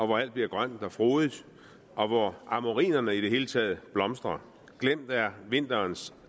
hvor alt bliver grønt og frodigt og hvor amorinerne i det hele taget blomstrer glemt er vinterens